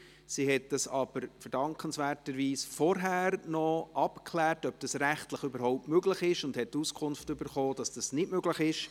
Sie hat aber in verdankenswerter Weise zuvor noch abgeklärt, ob dieser rechtlich überhaupt möglich ist, und hat die Auskunft erhalten, dass es nicht möglich ist.